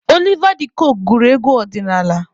Oliva D kokwe gụrụ egwu ọdịnaala.